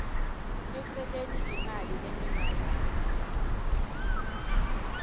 eceleni imali lengemarandi